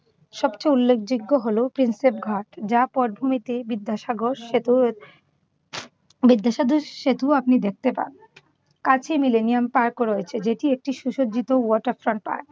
সবচেয়ে উল্লেখযোগ্য হলো টিনসেট ঘট যার পটভূমিতে বিদ্যাসাগর সেতুর বিদ্যাসাগর সেতু আপনি দেখতে পান। কাছে মিলেনিয়াম পার্কও রয়েছে। সেটি একটি সুজ্জিত water front পার্ক।